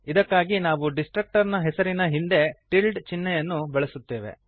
ಇದಕ್ಕಾಗಿ ನಾವು ಡಿಸ್ಟ್ರಕ್ಟರ್ ನ ಹೆಸರಿನ ಹಿಂದೆ ಟಿಲ್ಡ್ ಚಿಹ್ನೆಯನ್ನು ಬಳಸುತ್ತೇವೆ